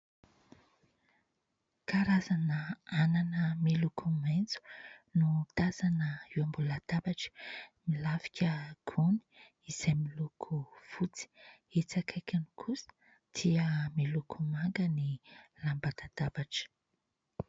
Karazana anana miloko maitso no tazana eo ambony latabatra, milafika gony izay miloko fotsy, etsy akaikiny kosa dia miloko manga ny lamba latabatra.